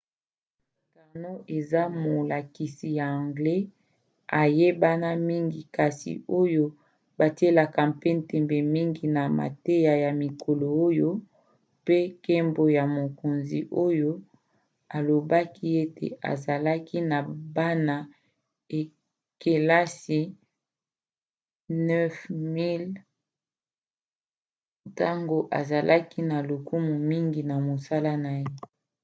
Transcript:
karno eza molakisi ya anglais ayebana mingi kasi oyo batielaka mpe ntembe mingi na mateya ya mikolo oyo mpe nkembo ya mokonzi oyo alobaki ete azalaki na bana-kelasi 9 000 ntango azalaki na lokumu mingi na mosala na ye